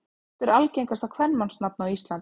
Hvert er algengasta kvenmannsnafn á Íslandi?